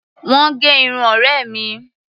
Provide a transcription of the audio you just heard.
Wọ́n gẹ irun ọ̀rẹ́ mi.